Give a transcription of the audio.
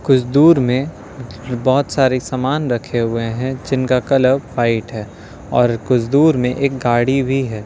कुछ दूर में बोहोत सारे सामान रखे हुए हैं जिनका कलर वाइट है और कुछ दूर में एक गाड़ी भी है।